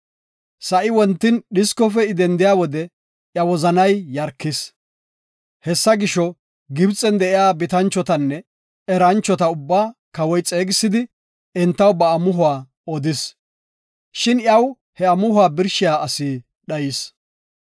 Sa7ay wontin dhiskofe I dendiya wode iya wozanay yarkis. Hessa gisho, Gibxen de7iya bitanchotanne eranchota ubbaa kawoy xeegisidi entaw ba amuhuwa odis. Shin iyaw he amuhuwa birshiya asi dhayis.